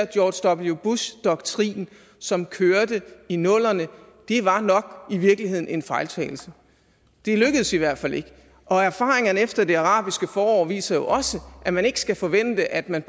george w bush doktrin som kørte i nullerne var i virkeligheden nok en fejltagelse det lykkedes i hvert fald ikke og erfaringerne efter det arabiske forår viser jo også at man ikke skal forvente at man